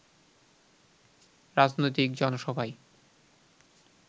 রাজনৈতিক জনসভায়